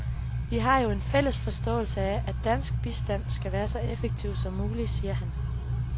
Vi har jo en fælles forståelse af, at dansk bistand skal være så effektiv som mulig, siger han.